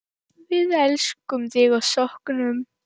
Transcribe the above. Við elskum þig og söknum.